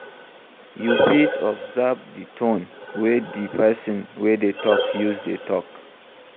You fit observe di tone wey di person wey dey talk use dey talk